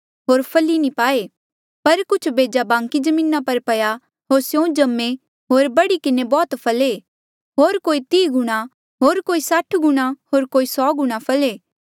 पर कुछ बेजा बांकी जमीना पर पया होर स्यों जम्मे होर बढ़ी किन्हें बौह्त फले होर कोई तीह गुणा कोई साठ गुणा होर कोई सौ गुणा फले